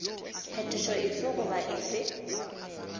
phetošo efe goba efe goba